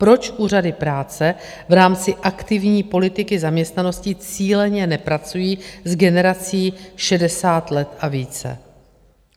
Proč úřady práce v rámci aktivní politiky zaměstnanosti cíleně nepracují s generací 60 let a více?